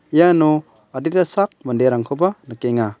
iano adita sak manderangkoba nikenga.